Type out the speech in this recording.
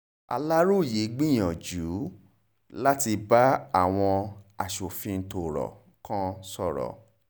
aláròye gbìyànjú láti bá àwọn aṣòfin tọ́rọ̀ kan sọ̀rọ̀